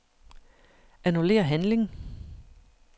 Annullér handling.